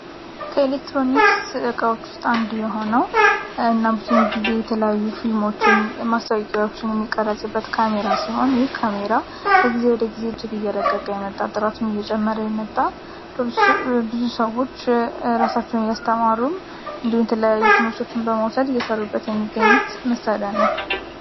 ጊዜ የተለያዩ ፊልሞችን የማር የሚሆን የካሜራ እግዚያብሄር የመጣ ብዙ ሰዎች ራሳቸውን እያስተማሩ እንዲሁም የተለያዩ ትምህርቶችን በመውሰድ እየሰሩበት የሚገኙት መሳሪያ ነው